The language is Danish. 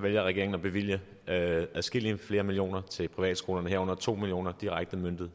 vælger regeringen at bevilge adskillige flere millioner kroner til privatskolerne herunder to million kroner direkte udmøntet